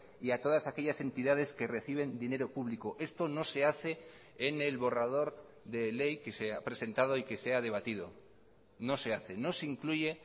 y a todas aquellas entidades que reciben dinero público esto no se hace en el borrador de ley que se ha presentado y que se ha debatido no se hace no se incluye